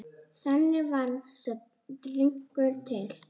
Þannig varð sá drykkur til.